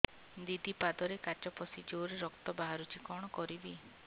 ଦିଦି ପାଦରେ କାଚ ପଶି ଜୋରରେ ରକ୍ତ ବାହାରୁଛି କଣ କରିଵି